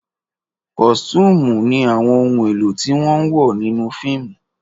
Kọ̀sìtuumu ni àwọn ohun èlò tí wọ́n ń wọ̀ nínú fíìmù